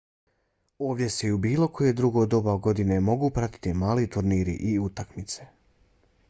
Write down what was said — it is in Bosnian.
ovdje se i u bilo koje drugo doba godine mogu pratiti mali turniri i utakmice